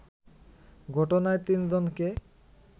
ঘটনায় তিনজনকে